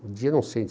no dia, não sei,